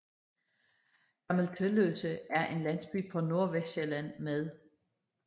Gammel Tølløse er en landsby på Nordvestsjælland med